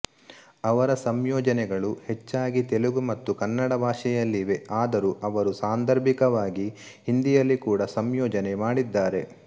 ಅವರ ಸಂಯೋಜನೆಗಳು ಹೆಚ್ಚಾಗಿ ತೆಲುಗು ಮತ್ತು ಕನ್ನಡ ಭಾಷೆಯಲ್ಲಿವೆ ಆದರೂ ಅವರು ಸಾಂದರ್ಭಿಕವಾಗಿ ಹಿಂದಿಯಲ್ಲಿ ಕೂಡ ಸಂಯೋಜನೆ ಮಾಡಿದ್ದಾರೆ